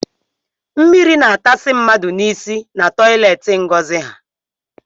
Mmiri na atasị mmadụ n’isi na toileti Ngozi ha